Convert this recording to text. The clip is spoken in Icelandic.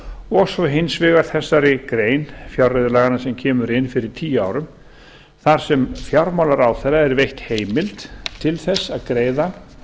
og svo hins vegar þessari grein fjárreiðulaganna sem kemur inn fyrir tíu árum þar sem fjármálaráðherra er veitt heimild til að greiða